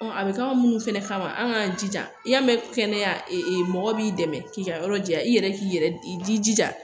a bɛ k'aw minnu fɛnɛ kama an k'an jija i y'a mɛn kɛnɛya mɔgɔ b'i dɛmɛ k'i ka yɔrɔ ja i yɛrɛ k'i yɛrɛ i jija